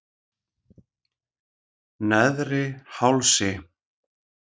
Neðri Hálsi